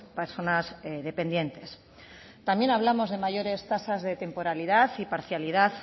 personas dependientes también hablamos de mayores tasas de temporalidad y parcialidad